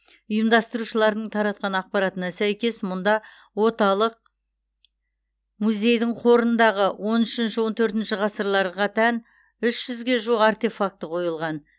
ұйымдастырушылардың таратқан ақпаратына сәйкес мұнда оталық музейдің қорындағы он үшінші он төртінші ғасырларға тән үш жүзге жуық артефакті қойылған